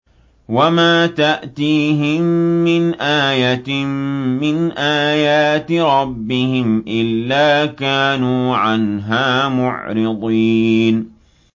وَمَا تَأْتِيهِم مِّنْ آيَةٍ مِّنْ آيَاتِ رَبِّهِمْ إِلَّا كَانُوا عَنْهَا مُعْرِضِينَ